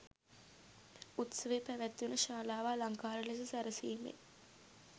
උත්සවය පැවැත්වන ශාලාව අලංකාර ලෙස සැරසීමෙන්